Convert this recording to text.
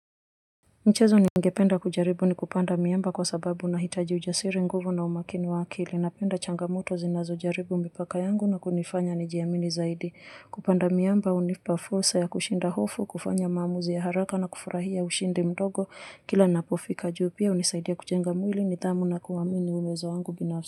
Mchezo ningependa kujaribu ni kupanda miamba kwa sababu na hitaji ujasiri nguvu na umakini wa akili. Napenda changamoto zinazo jaribu mipaka yangu na kunifanya ni jiamini zaidi. Kupanda miamba hunipa fursa ya kushinda hofu, kufanya maamuzi ya haraka na kufurahia ushindi mdogo. Kila napofika juu pia hunisaidia kujenga mwili nidhamu na kuamini uamuzi wangu binafsi.